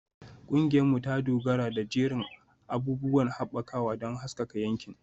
Ƙungiyarmu ta dogara da jerin abubuwan haɓakawa don haskaka yankin.